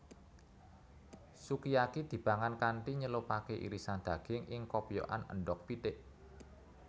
Sukiyaki dipangan kanthi nyelupake irisan daging ing kopyokan endhog pitik